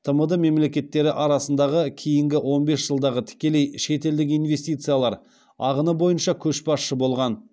тмд мемлекеттері арасындағы кейінгі он бес жылдағы тікелей шетелдік инвестициялар ағыны бойынша көшбасшы болған